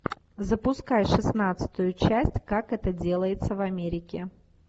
запускай шестнадцатую часть как это делается в америке